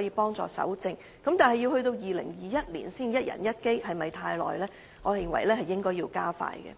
協助搜證，但到了2021年才可達到一人一機的目標，是否太遲？